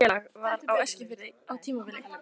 Taflfélag var á Eskifirði á tímabili.